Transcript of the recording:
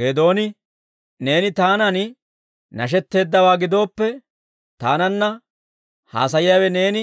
Geedooni, «Neeni taanan nashetteeddawaa gidooppe, taananna haasayiyaawe neeni